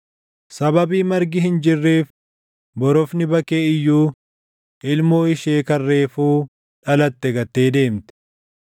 Sababii margi hin jirreef, borofni bakkee iyyuu ilmoo ishee kan reefuu dhalatte gattee deemti.